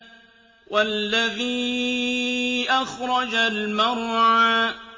وَالَّذِي أَخْرَجَ الْمَرْعَىٰ